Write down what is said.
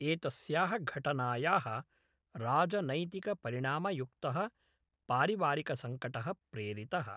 एतस्याः घटनाया राजनैतिकपरिणामयुक्तः पारिवारिकसङ्कटः प्रेरितः।